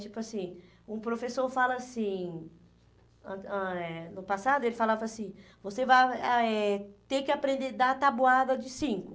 Tipo assim, um professor fala assim, ãh ãh eh no passado ele falava assim, você vai ah eh ter que aprender dar tabuada de cinco.